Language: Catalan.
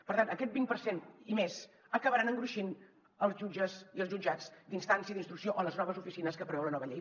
per tant aquest vint per cent i més acabarà engruixint els jutges i els jutjats d’instància d’instrucció o les noves oficines que preveu la nova llei